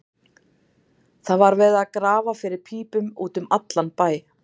Það var verið að grafa fyrir pípum út um allan bæ.